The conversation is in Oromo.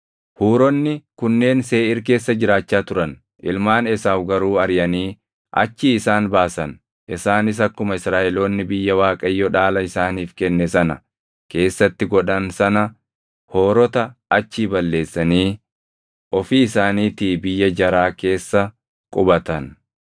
Huuronni kunneen Seeʼiir keessa jiraachaa turan; ilmaan Esaawu garuu ariʼanii achii isaan baasan. Isaanis akkuma Israaʼeloonni biyya Waaqayyo dhaala isaaniif kenne sana keessatti godhan sana Hoorota achii balleessanii ofii isaaniitii biyya jaraa keessa qubatan.